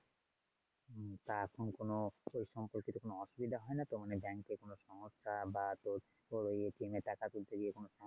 তা এখন কোনো ওই সমস্ত কোনও অসুবিধা হয়না তো? মানে bank এর কোনও সমস্যা বা তোর ওই এ টাকা তুলতে গিয়ে কোনও সমস্যা?